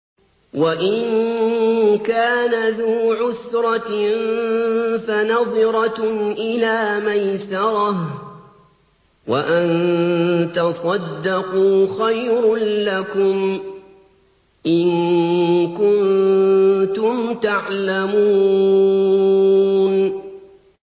وَإِن كَانَ ذُو عُسْرَةٍ فَنَظِرَةٌ إِلَىٰ مَيْسَرَةٍ ۚ وَأَن تَصَدَّقُوا خَيْرٌ لَّكُمْ ۖ إِن كُنتُمْ تَعْلَمُونَ